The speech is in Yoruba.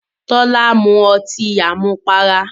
Tọ́lá mu ọtí àmupara.